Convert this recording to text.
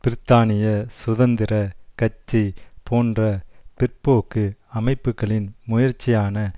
பிரித்தானிய சுதந்திர கட்சி போன்ற பிற்போக்கு அமைப்புக்களின் முயற்சியான